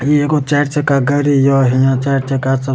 इ एगो चार चक्का गाड़ी ये हीया चार चक्का सब --